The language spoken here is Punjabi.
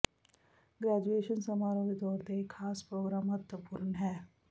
ਗ੍ਰੈਜੂਏਸ਼ਨ ਸਮਾਰੋਹ ਦੇ ਤੌਰ ਤੇ ਇਹ ਖਾਸ ਪ੍ਰੋਗਰਾਮ ਮਹੱਤਵਪੂਰਨ ਹੈ